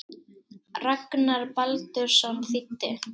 Ragnar Baldursson þýddi.